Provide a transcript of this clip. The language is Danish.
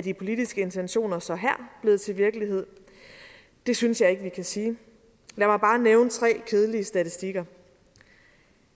de politiske intentioner så her blevet til virkelighed det synes jeg ikke vi kan sige lad mig bare nævne tre kedelige statistikker